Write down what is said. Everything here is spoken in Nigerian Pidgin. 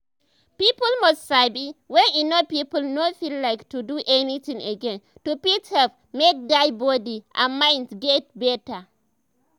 people must sabi wen e no people no feel like to do anything again to fit help make dia body and mind get better